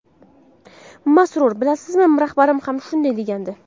Masrur: – Bilasizmi, rahbarim ham shunday degandi.